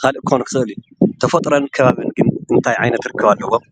ካልእ ክኸውን ይኽእል እዩ። ተፍጥሮን ከባብን ግን እንታይ ዓይነት ርክብ ኣለዎም?